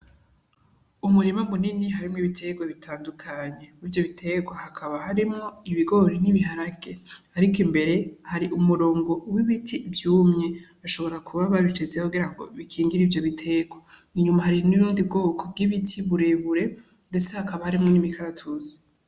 Umurima munini harimwo ibiterwa bitandukanye mwivyo biterwa hakaba harimwo ibigori n'ibiharage, ariko imbere hari umurongo w'ibiti vyumye ashobora kuba babishizeho kugira ngo bakingire ivyo biterwa inyuma hari n'ubundi bwoko bw'ibiti burebure, ndetse hakaba harimwo n'imi karatusi.